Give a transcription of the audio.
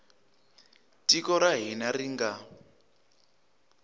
tiko ra hina ri nga